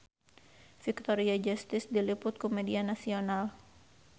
Victoria Justice diliput ku media nasional